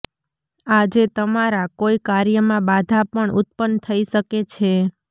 આજે તમારા કોઇ કાર્યમાં બાધા પણ ઉત્પન્ન થઇ શકે છે